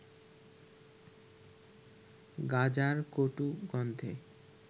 গাঁজার কটু গন্ধে